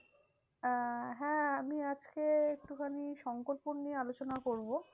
আহ হ্যাঁ আমি আজকে একটুখানি শঙ্করপুর নিয়ে আলোচনা করবো।